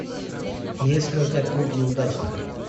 есть ли у тебя клуб неудачников